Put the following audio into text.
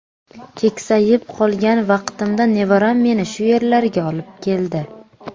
Keksayib qolgan vaqtimda nevaram meni shu yerlarga olib keldi.